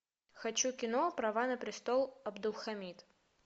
хочу кино права на престол абдулхамид